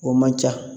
O man ca